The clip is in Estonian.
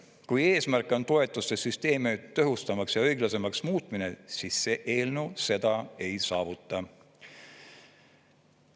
Kui eesmärk on toetuste süsteemi tõhustamaks ja õiglasemaks muutmine, siis see eelnõu seda ei saavuta.